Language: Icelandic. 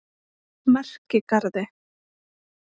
Merkigarði